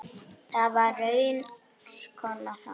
Það var raunar konan hans.